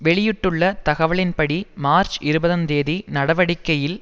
வெளியிட்டுள்ள தகவலின்படி மார்ச்இருபதுந் தேதி நடவடிக்கையில்